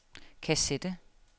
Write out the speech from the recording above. kassette